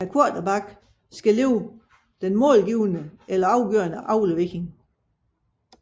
Quaterbacken skal lægge den målgivende eller afgørende aflevering